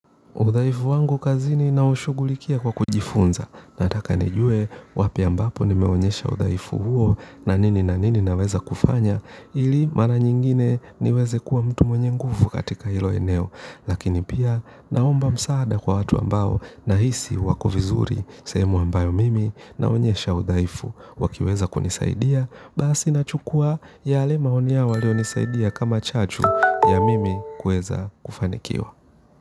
Udhaifu wangu kazini naushugulikia kwa kujifunza. Nataka nijue wapi ambapo nimeonyesha udhaifu huo na nini na nini naweza kufanya ili mara nyingine niweze kuwa mtu mwenye nguvu katika hilo eneo. Lakini pia naomba msaada kwa watu ambao na hisi wako vizuri semu ambayo mimi naonyesha udaifu wakiweza kunisaidia basi na chukua yale maoni yao walionisaidia kama chachu ya mimi kuweza kufanikiwa.